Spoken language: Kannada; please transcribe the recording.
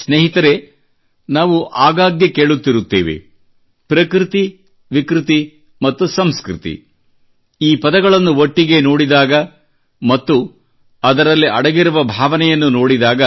ಸ್ನೇಹಿತರೇ ನಾವು ಆಗಾಗ್ಗೆ ಕೇಳುತ್ತಿರುತ್ತೇವೆ ಪ್ರಕೃತಿ ವಿಕೃತಿ ಮತ್ತು ಸಂಸ್ಕೃತಿ ಈ ಪದಗಳನ್ನು ಒಟ್ಟಿಗೆ ನೋಡಿದಾಗ ಮತ್ತು ಅದರಲ್ಲಡಗಿರುವ ಭಾವನೆಯನ್ನು ನೋಡಿದಾಗ